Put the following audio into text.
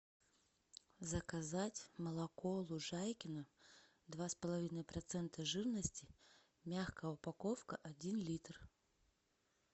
заказать молоко лужайкино два с половиной процента жирности мягкая упаковка один литр